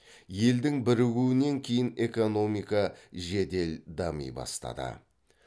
елдің бірігуінен кейін экономика жедел дами бастады